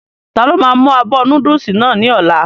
Ta ló máa mú abọ́ núdùsì náà ní ọ̀la?